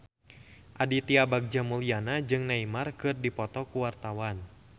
Aditya Bagja Mulyana jeung Neymar keur dipoto ku wartawan